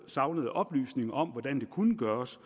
savnede oplysninger om hvordan det kunne gøres